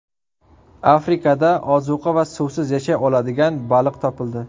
Afrikada ozuqa va suvsiz yashay oladigan baliq topildi.